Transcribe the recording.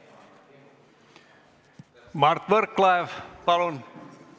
Mart Võrklaev, palun!